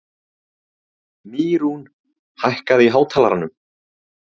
Mýrún, hækkaðu í hátalaranum.